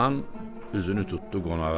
Xan üzünü tuttu qonağa.